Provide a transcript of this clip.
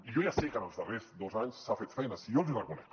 i jo ja sé que en els darrers dos anys s’ha fet feina si jo els hi reconec